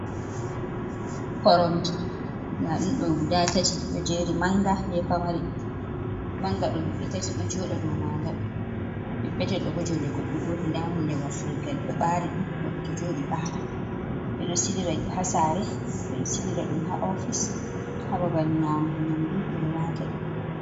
Koromje ndaa ɗum ɗo guda tati ɗo jeeri ,mannga be pamari .Mannga ɗo himɓe tati ɗo jooɗa dow maaga. Petepetel bo, joonde goɗɗo gooto, ndaa hunde wafrilgal ɗo ɓaari ,ɗum goɗɗo to jooɗi ɓaara. Ɓe ɗo sila haa saare, ɓe ɗo silira ɗum haa ofis haa babal nyamugo nyamdu ɓe ɗo waata ɗum.